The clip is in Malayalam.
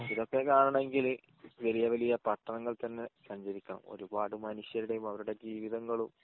ഇതൊക്കെ കാണാനെകിൽ വലിയ വലിയ പട്ടണങ്ങൾ തന്നെ സഞ്ചരിക്കാം ഒരുപാട് മനുഷ്യരുടെ അവരുടെ ജീവിതങ്ങളും